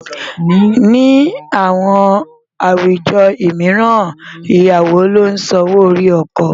Ní àwọn àwùjọ mìíràn, Ìyàwó ló ń san owó orí ọkọ.